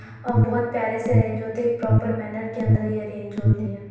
और बहुत प्यारे से अरैन्ज होते एक प्रोपर मॅनर के अंदर ये अरैन्ज होती हैं।